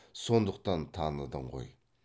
сондықтан таныдың ғой